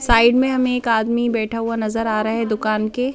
Side में हमें एक आदमी बैठा हुआ नजर आ रहा है दुकान के।